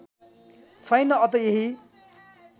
छैन अत यही